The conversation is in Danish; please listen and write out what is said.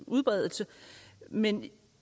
udbredelse men